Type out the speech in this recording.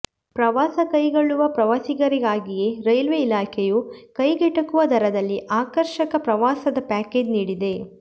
ಪ್ರವಾಸ ಕೈಗೊಳ್ಳುವ ಪ್ರವಾಸಿಗರಿಗಾಗಿಯೇ ರೈಲ್ವೆ ಇಲಾಖೆಯು ಕೈಗೆಟುಕುವ ದರದಲ್ಲಿ ಆಕರ್ಷಕ ಪ್ರವಾಸದ ಪ್ಯಾಕೇಜ್ ನೀಡಿದೆ